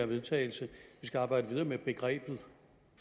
vedtagelse at vi skal arbejde videre med begrebet